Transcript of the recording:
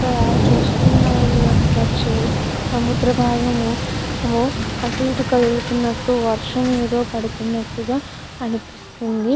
ఇక్కడ చూస్తున వక సముద్ర బాగము అటు ఎటు కదులునట్టు మనకు వక వర్ష బాగము కనిపెస్తునది. చుస్తునది--